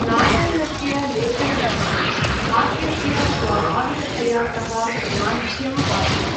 नारायणस्य लेखनविधानं हास्यस्य स्वाभाविकतया सह अनाढ्यम् आसीत्।